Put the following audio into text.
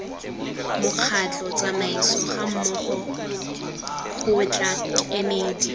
mokgatlho tsamaiso gammogo kgotla kemedi